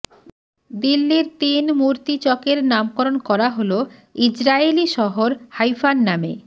দিল্লির তিন মূর্তি চকের নামকরণ করা হল ইজরায়েলি শহর হাইফার নামে